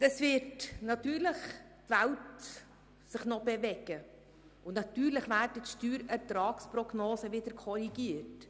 Sicher wird sich die Welt noch drehen, und sicher werden die Steuerertragsprognosen wieder korrigiert.